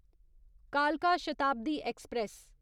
कालका शताब्दी ऐक्सप्रैस